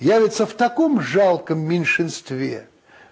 явятся в таком жалком меньшинстве